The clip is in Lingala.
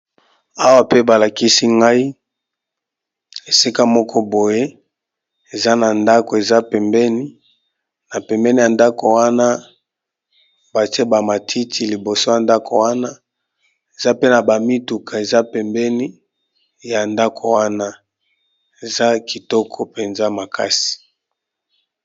Awa pe balakisi ngai esika moko boye eza na ndako eza pembeni na pembeni ya ndako wana batie bamatiti liboso ya ndako wana eza pe na bamituka eza pembeni ya ndako wana eza kitoko mpenza makasi.